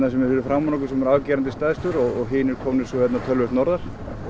sem er fyrir framan okkur sem er afgerandi stærstur hinir komnir svo töluvert norðar